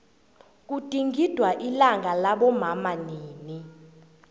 kugidingwa ilanga labomama nini